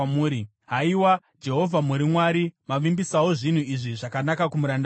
Haiwa Jehovha, muri Mwari! Mavimbisawo zvinhu izvi zvakanaka kumuranda wenyu.